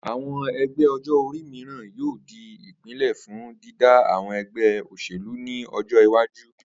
Àwo̩n e̩gbé̩ o̩jó̩-orí mìíràn yóò di ìpìnlé̩ fún dídá àwo̩n e̩gbé̩ o̩s̩èlú ní o̩jó̩ iwájú